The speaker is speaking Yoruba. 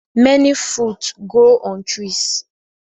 Many fruits grow on trees